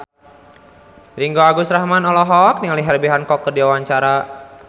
Ringgo Agus Rahman olohok ningali Herbie Hancock keur diwawancara